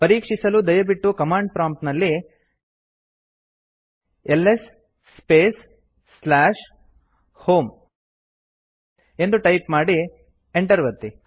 ಪರೀಕ್ಷಿಸಲು ದಯವಿಟ್ಟು command prompt ನಲ್ಲಿ ಎಲ್ಎಸ್ ಸ್ಪೇಸ್ ಹೋಮ್ ಎಂದು ಟೈಪ್ ಮಾಡಿ enter ಒತ್ತಿ